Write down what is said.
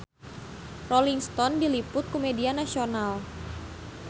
Rolling Stone diliput ku media nasional